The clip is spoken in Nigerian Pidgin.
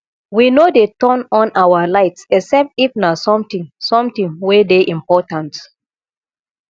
we no dey turn on our lights except if na something something wey dey important